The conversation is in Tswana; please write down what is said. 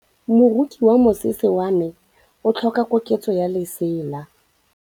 Moroki wa mosese wa me o tlhoka koketsô ya lesela.